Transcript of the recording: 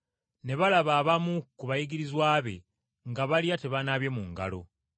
Ne balaba abamu ku bayigirizwa be nga balya tebanaabye mu ngalo.